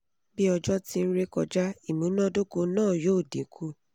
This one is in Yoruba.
bi ojo ti n re kọja imunadoko naa yoo dinku